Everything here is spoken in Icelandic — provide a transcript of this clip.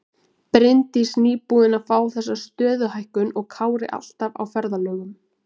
Bryndís nýbúin að fá þessa stöðuhækkun og Kári alltaf á ferðalögum.